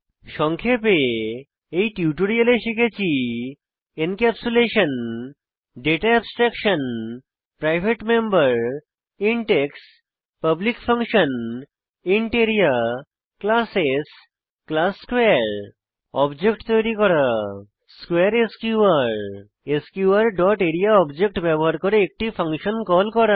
সংক্ষেপে এই টিউটোরিয়ালে আমরা শিখেছি encapsulation data abstraction private member int x public function int area classes class স্কোয়ারে অবজেক্ট তৈরী করা স্কোয়ারে SQR SQR dot area object ব্যবহার করে একটি ফাংশন কল করা